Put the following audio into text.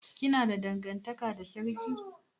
Kina da dangantaka da sarki?